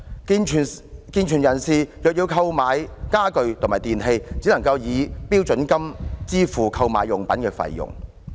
健全成人若要購買家具及電器，只可以標準金額支付購買用品的費用。